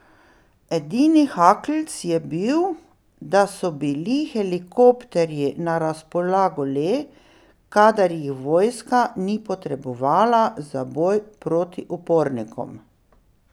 Edini haklc je bil, da so bili helikopterji na razpolago le, kadar jih vojska ni potrebovala za boj proti upornikom.